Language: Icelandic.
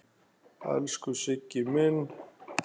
Elsku Siggi minn.